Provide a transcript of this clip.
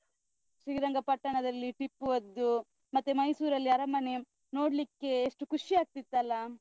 ಶ್ರೀರಂಗಪಟ್ಟಣದಲ್ಲಿ ಟಿಪ್ಪು ಅದ್ದು, ಮತ್ತೆ ಮೈಸೂರ್ ಅಲ್ಲಿ ಅರಮನೆ ನೋಡ್ಲಿಕ್ಕೆ ಎಷ್ಟು ಖುಷಿ ಆಗ್ತಿತ್ತಲ್ಲಾ?